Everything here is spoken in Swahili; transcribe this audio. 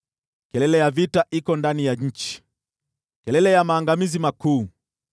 Kelele ya vita iko ndani ya nchi, kelele ya maangamizi makuu!